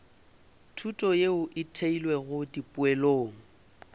thuto yeo e theilwego dipoelong